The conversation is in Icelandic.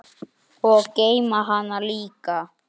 Um miðja nótt.